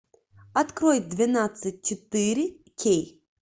открой двенадцать четыре кей